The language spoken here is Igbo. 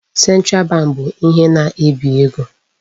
Central bank bụ ihe na-ebi ego.